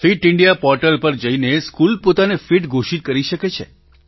fit India portal પર જઈને school પોતાને ફિટ ઘોષિત કરી શકે છે